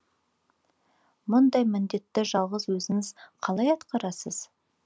мұндай міндетті жалғыз өзіңіз қалай атқарасыз